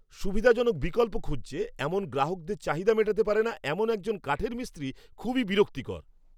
সুবিধাজনক বিকল্প খুঁজছে এমন গ্রাহকদের চাহিদা মেটাতে পারে না এমন একজন কাঠের মিস্ত্রি খুবই বিরক্তিকর।